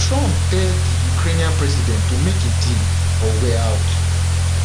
trump tell di ukrainian president to make a deal or were out